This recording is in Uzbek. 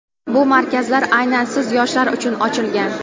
Bu markazlar aynan siz yoshlar uchun ochilgan!.